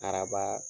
Araba